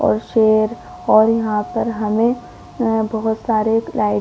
और शेर और यहाँ पर हमे अ बहोत सारे लाइटें --